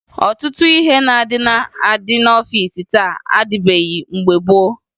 Ọtụtụ ihe ndị na-adị n'ọfiisi taa adịbughi mgbe gboo